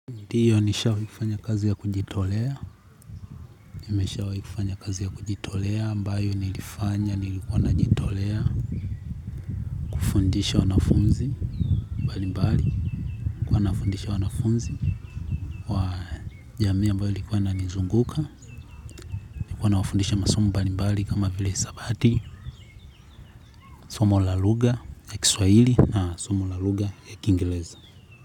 Ndiyo nishawahi kufanya kazi ya kujitolea, nimeshawahi kufanya kazi ya kujitolea, ambayo nilifanya, nilikuwa najitolea, kufundisha wanafunzi, mbali mbali, nilikuwa nafundisha wanafunzi, wa jamii ambayo ilikuwa inanizunguka, nilikuwa na wafundisha masomo mbali mbali kama vile hisabati, somo la lugha ya kiswaili na somo la lugha ya kiingereza.